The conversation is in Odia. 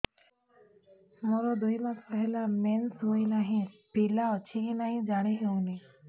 ମୋର ଦୁଇ ମାସ ହେଲା ମେନ୍ସେସ ହୋଇ ନାହିଁ ପିଲା ଅଛି କି ନାହିଁ ଜାଣି ହେଉନି